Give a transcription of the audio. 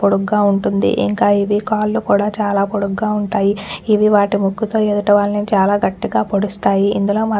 పొడుగ్గా ఉంటుంది ఇంకా ఇవి కాళ్ళు కూడా చాలా పొడుగ్గా ఉంటాయి ఇవి వాటి ముక్కుతో ఎదుటవాళ్ళని చాలా గట్టిగా పొడుస్తాయి ఇందులో మా --